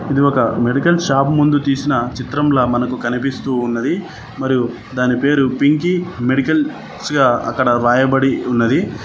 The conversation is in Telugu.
ఇది ఒక మెడికల్ షాప్ ముందు తీసిన చిత్రంలా మనకు కనిపిస్తూ ఉన్నది మరియు దాని పేరు పింకీ మెడికల్స్ గా అక్కడ రాయబడి ఉన్నది.